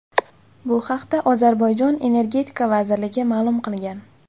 Bu haqda Ozarbayjon Energetika vazirligi ma’lum qilgan .